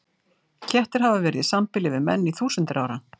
Kettir hafa verið í sambýli við menn í þúsundir ára.